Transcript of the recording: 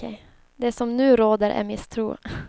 Det som nu råder är misstro.